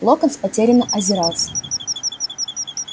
локонс потерянно озирался